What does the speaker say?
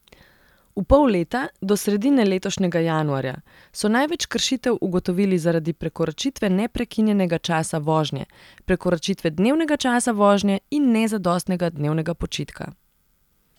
V pol leta, do sredine letošnjega januarja, so največ kršitev ugotovili zaradi prekoračitve neprekinjenega časa vožnje, prekoračitve dnevnega časa vožnje in nezadostnega dnevnega počitka.